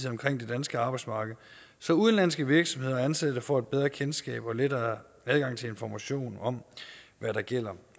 omkring det danske arbejdsmarked så udenlandske virksomheder og ansatte får et bedre kendskab og en lettere adgang til information om hvad der gælder